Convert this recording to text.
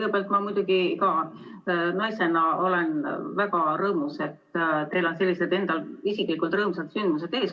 Kõigepealt ma muidugi ka naisena olen väga rõõmus, et teil on sellised isiklikud rõõmsad sündmused ees.